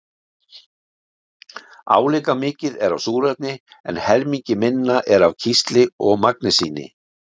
Álíka mikið er af súrefni en helmingi minna er af kísli og magnesíni.